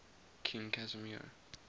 king casimir